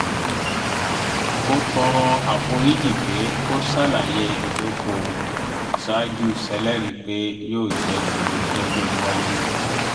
ó tọrọ àforíjì pé kò ṣàlàyé ìdókòwò ṣáájú ṣèlérí pé yóò jẹ́ kedere lọ́jọ́ iwájú